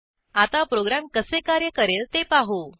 आता प्रोग्रॅम कसे कार्य करेल ते पाहू